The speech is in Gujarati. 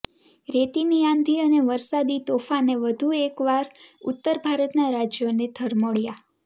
રેતીની આંધી અને વરસાદી તોફાને વધુ એક વાર ઉત્તર ભારતનાં રાજ્યોને ધમરોળ્યાં